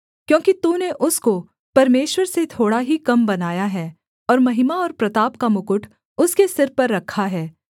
क्योंकि तूने उसको परमेश्वर से थोड़ा ही कम बनाया है और महिमा और प्रताप का मुकुट उसके सिर पर रखा है